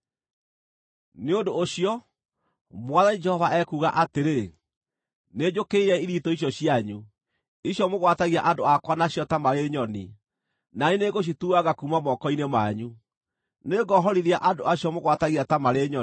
“ ‘Nĩ ũndũ ũcio, Mwathani Jehova ekuuga atĩrĩ: Nĩnjũkĩrĩire ithitũ icio cianyu, icio mũgwatagia andũ akwa nacio ta marĩ nyoni, na niĩ nĩngũcituanga kuuma moko-inĩ manyu. Nĩngohorithia andũ acio mũgwatagia ta marĩ nyoni.